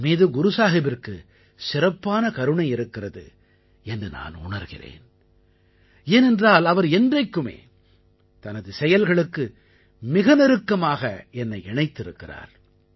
என் மீது குரு சாஹிபிற்கு சிறப்பான கருணை இருக்கிறது என்று நான் உணர்கிறேன் ஏனென்றால் அவர் என்றைக்குமே தனது செயல்களுக்கு மிக நெருக்கமாக என்னை இணைத்திருக்கிறார்